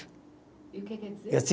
E o que quer dizer?